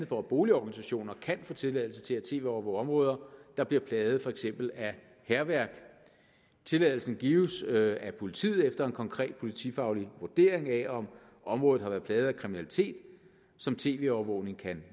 for at boligorganisationer kan få tilladelse til at tv overvåge områder der bliver plaget af for eksempel hærværk tilladelsen gives af politiet efter en konkret politifaglig vurdering af om området har været plaget af kriminalitet som tv overvågning kan